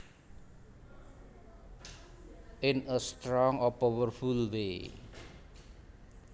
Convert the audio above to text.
In a strong or powerful way